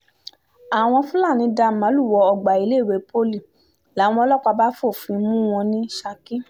àwọn fúlàní dá màálùú wọ ọgbà iléèwé poli làwọn ọlọ́pàá bá fòfin mú wọn ní saki